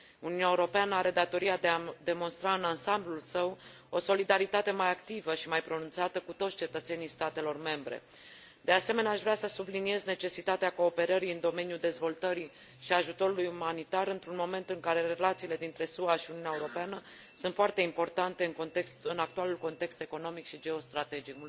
Uniunea Europeană are datoria de a demonstra în ansamblul său o solidaritate mai activă și mai pronunțată cu toți cetățenii statelor membre. De asemenea, aș vrea să subliniez necesitatea cooperării în domeniul dezvoltării și ajutorului umanitar într un moment în care relațiile dintre SUA și Uniunea Europeană sunt foarte importante în actualul context economic și geostrategic